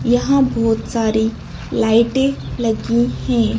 यहां बहुत सारी लाइटें लगी हैं।